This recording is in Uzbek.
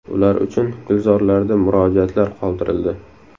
Ular uchun gulzorlarda murojaatlar qoldirildi .